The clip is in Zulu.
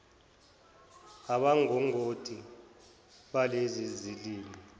abangongoti balezi zilimi